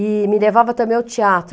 E me levava também ao teatro.